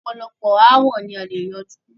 ọ̀pọ̀lọpọ̀ aàwo ni a lè yanjú.